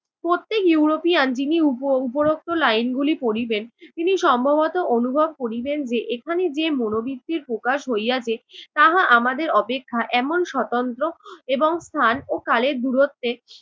প্রত্যেক ইউরোপিয়ান যিনি উপ~ উপরোক্ত line গুলি পড়িবেন তিনি সম্ভবত অনুভব করিবেন যে এখানে যে মনোবৃত্তির প্রকাশ হইয়াছে তাহা আমাদের অপেক্ষা এমন স্বতন্ত্র এবং স্থান ও কালের দূরত্বে